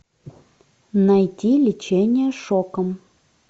найти лечение шоком